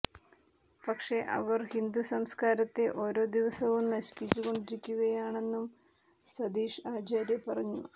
പക്ഷെ അവർ ഹിന്ദു സംസ്കാരത്തെ ഓരോ ദിവസവും നശിപ്പിച്ചു കൊണ്ടിരിക്കുകയാണെന്നും സതീഷ് ആചാര്യ പറഞ്ഞു